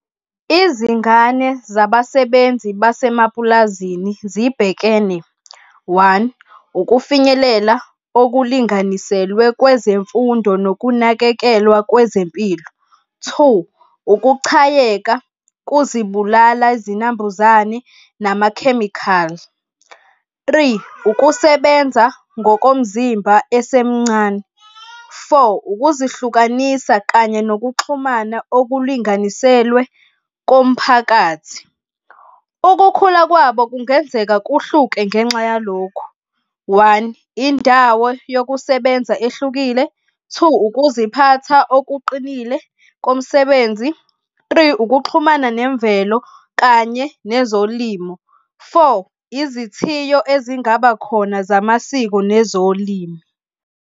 Izingane zabasebenzi basemapulazini zibhekene, one, ukufinyelela okulinganiselwe kwezemfundo nokunakekelwa kwezempilo. Two, ukuchayeka kuzibulala izinambuzane namakhemikhali. Three, ukusebenza ngokomzimba esemncane. Four, ukuzihlukanisa kanye nokuxhumana okulinganiselwe komphakathi. Ukukhula kwabo kungenzeka kuhluke ngenxa yalokhu, one, indawo yokusebenza ehlukile. Two, ukuziphatha okuqinile komsebenzi. Three, ukuxhumana nemvelo kanye nezolimo. Four, izithiyo ezingaba khona zamasiko nezolimi.